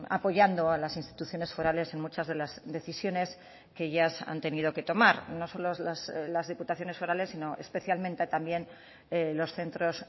apoyando a las instituciones forales en muchas de las decisiones que ellas han tenido que tomar no solo las diputaciones forales sino especialmente también los centros